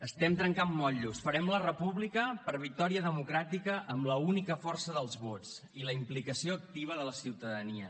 estem trencant motllos farem la república per victòria democràtica amb l’única força dels vots i la implicació activa de la ciutadania